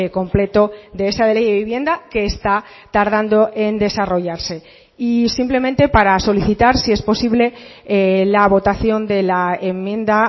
completo de esa ley de vivienda que está tardando en desarrollarse y simplemente para solicitar si es posible la votación de la enmienda